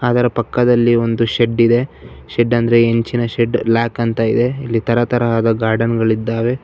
ಅದರ ಪಕ್ಕದಲ್ಲಿ ಒಂದು ಶೆಡ್ಡಿದೆ ಶೆಡ್ ಅಂದ್ರೆ ಇಂಚಿನ ಶೆಡ್ ಲ್ಯಾಕ್ ಅಂತ ಇದೆ ಇಲ್ಲಿ ತರ ತರಹದ ಗಾರ್ಡನ್ ಗಳಿದ್ದಾವೆ.